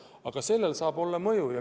Aga tööjõu puudusel saab mõju olla.